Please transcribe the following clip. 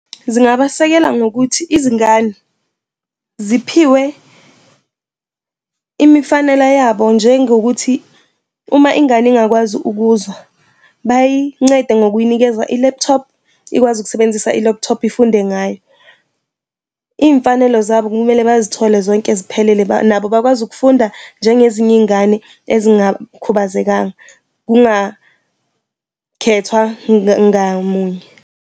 Zingabasekela ngokuthi izingane ziphiwe imifanela yabo njengokuthi uma ingane ingakwazi ukuzwa, bayincede ngokuyinikeza i-laptop ikwazi ukusebenzisa i-laptop ifunde ngayo. Iy'mfanelo zabo kumele bazithole zonke ziphelele nabo bakwazi ukufunda njengezinye iy'ngane ezingakhubazekanga kungakhethwa ngamunye.